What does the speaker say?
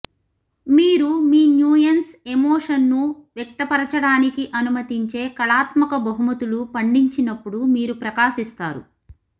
మీరు మీన్యూయన్స్ ఎమోషన్ను వ్యక్తపరచడానికి అనుమతించే కళాత్మక బహుమతులు పండించినప్పుడు మీరు ప్రకాశిస్తారు